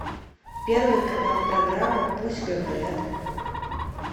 первый канал программа пусть говорят